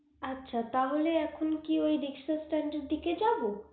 আচ্ছা তাহলে এখন কি ওই riksha staind দিকে যাবো